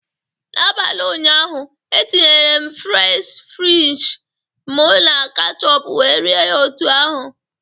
N'abalị ụnyaahụ, etinyere m fries french m na ketchup wee rie ya otu ahụ